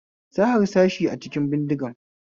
Sa harsashi a cikin bindigan